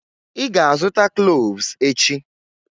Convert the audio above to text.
Ị ga-azụta cloves echi.